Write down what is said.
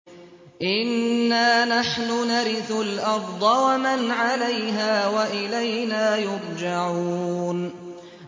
إِنَّا نَحْنُ نَرِثُ الْأَرْضَ وَمَنْ عَلَيْهَا وَإِلَيْنَا يُرْجَعُونَ